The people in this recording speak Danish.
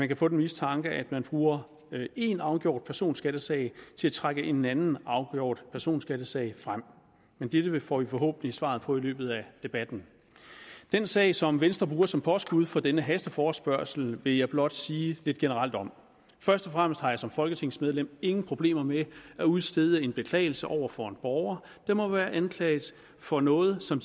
kan få den mistanke at man bruger en afgjort personskattesag til at trække en anden afgjort personskattesag frem men dette får vi forhåbentlig svaret på i løbet af debatten den sag som venstre bruger som påskud for denne hasteforespørgsel vil jeg blot sige lidt generelt om først og fremmest har jeg som folketingsmedlem ingen problemer med at udstede en beklagelse over for en borger der måtte være anklaget for noget som